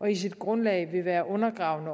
og i sit grundlag vil være undergravende